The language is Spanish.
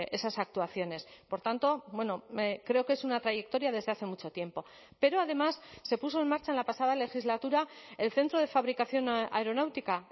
esas actuaciones por tanto bueno creo que es una trayectoria desde hace mucho tiempo pero además se puso en marcha en la pasada legislatura el centro de fabricación aeronáutica